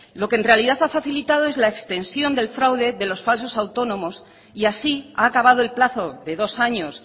lo que el realidad ha facilitado es la extensión del fraude de los falso autónomos y así ha acabado el plazo de dos años